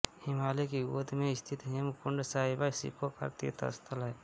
हिमालय की गोद में स्थित हेमकुण्ड साहिब सिखों का तीर्थ स्थल है